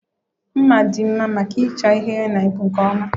Mma dị mma maka ịcha ihe yana ịkpụ nke ọma